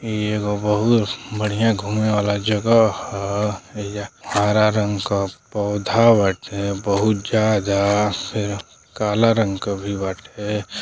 इ एगो बहुत बढ़िया घूमे वाला जगह ह। एहिजा हारा रंग क पौधा बाटे बहुत ज्यादा। फिर काला रंग क भी बाटे।